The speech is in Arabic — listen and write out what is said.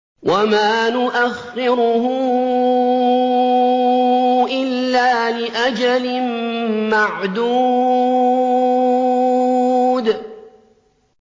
وَمَا نُؤَخِّرُهُ إِلَّا لِأَجَلٍ مَّعْدُودٍ